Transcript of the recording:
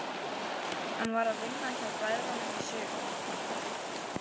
Hann var að vinna hjá bræðrunum í sumar.